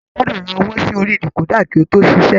A gbọdọ rà owó sí orí dekoda kí o to ṣiṣẹ.